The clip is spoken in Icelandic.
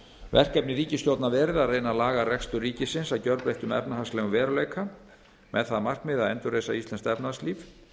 verkefni ríkisstjórnar verið að reyna að laga rekstur ríkisins að gjörbreyttum efnahagslegum veruleika með það að markmiði að endurreisa íslenskt efnahagslíf